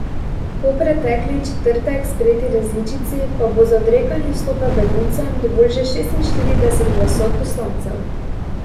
Po pretekli četrtek sprejeti različici pa bo za odrekanje vstopa beguncem dovolj že šestinštirideset glasov poslancev.